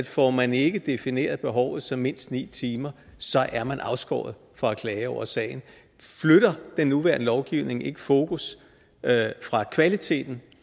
får man ikke defineret behovet som mindst ni timer så er man afskåret fra at klage over sagen flytter den nuværende lovgivning ikke fokus fra kvaliteten